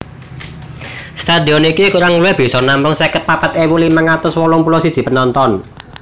Stadion iki kurang luwih bisa nampung seket papat ewu limang atus wolung puluh siji penonton